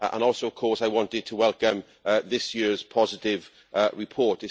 Also, of course, I wanted to welcome this year's positive report.